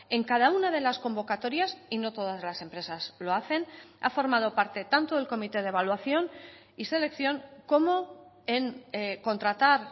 en cada una de las convocatorias y no todas las empresas lo hacen ha formado parte tanto del comité de evaluación y selección como en contratar